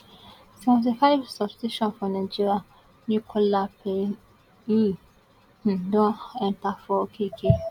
seventy five substitution for nigeria nicola payne um don enta for okeke